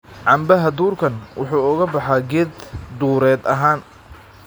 cambaha duurkan wuxuu oo ga baxaa geed dureed ahaan